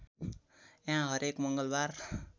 यहाँ हरेक मङ्गलबार